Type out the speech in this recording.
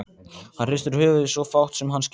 Hann hristir höfuðið, svo fátt sem hann skilur.